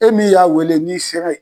E min y'a wele n'i sera ye